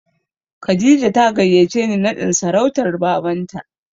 Kadija ta gayyace ni naɗin sarautar Babanta.